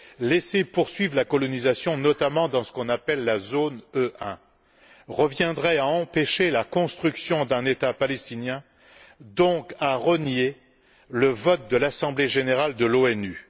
Laisser poursuivre la colonisation, notamment dans ce qu'on appelle la zone E1, reviendrait à empêcher la construction d'un État palestinien, donc à renier le vote de l'Assemblée générale de l'ONU.